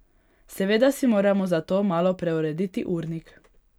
Seveda si moramo zato malo preurediti urnik.